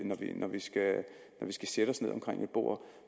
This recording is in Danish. skal sætte os ned omkring et bord